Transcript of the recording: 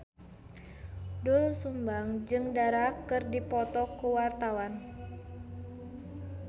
Doel Sumbang jeung Dara keur dipoto ku wartawan